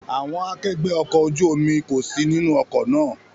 Àwọn akẹgbẹ́ ọkọ̀ ojú omi kò sí nínú ọkọ̀ náà.